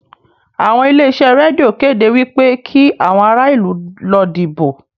Àwọn ilé-iṣẹ́ rédíò kéde wí pé kí àwọn ará ìlú lọ dìbò